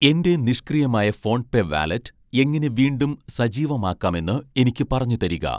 എൻ്റെ നിഷ്ക്രിയമായ PhonePe wallet എങ്ങനെ വീണ്ടും സജീവമാക്കാമെന്ന് എനിക്ക് പറഞ്ഞുതരിക